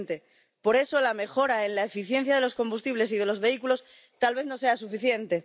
2020 por eso, la mejora en la eficiencia de los combustibles y de los vehículos tal vez no sea suficiente.